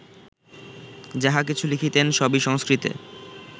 যাহা কিছু লিখিতেন সবই সংস্কৃতে